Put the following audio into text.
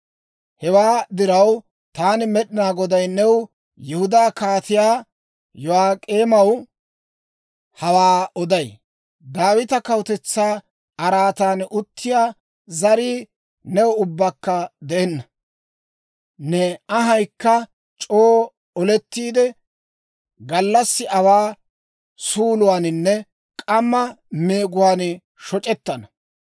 Hewaa diraw, taani Med'inaa Goday new Yihudaa Kaatiyaa Yo'ak'eemaw hawaa oday: Daawita kawutetsaa araatan uttiyaa zarii new ubbakka de'enna. Ne anhayikka c'oo olettiide, gallassi awaa suuluwaaninne k'amma meeguwaan shoc'ettana.